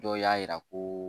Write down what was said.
Dɔw y'a yira ko